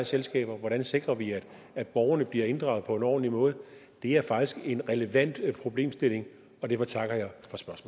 selskaber hvordan sikrer vi at borgerne bliver inddraget på en ordentlig måde det er faktisk en relevant problemstilling og derfor takker